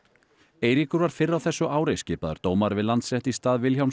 Eiríkur var fyrr á þessu ári skipaður dómari við Landsrétt í stað Vilhjálms